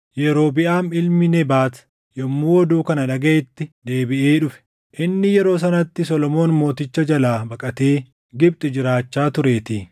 Yerobiʼaam ilmi Nebaat yommuu oduu kana dhagaʼetti deebiʼee dhufe; inni yeroo sanatti Solomoon Mooticha jalaa baqatee Gibxi jiraachaa tureetii.